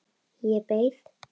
Ég beið.